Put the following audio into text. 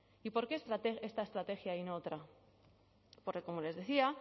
y por qué esta estrategia y no otra porque como les decía